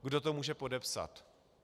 Kdo to může podepsat?